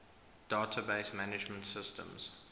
database management systems